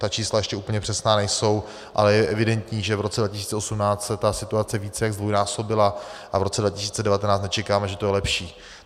Ta čísla ještě úplně přesná nejsou, ale je evidentní, že v roce 2018 se ta situace více jak zdvojnásobila, a v roce 2019 nečekáme, že to bude lepší.